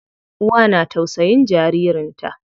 Uwa na tausayin jaririn ta.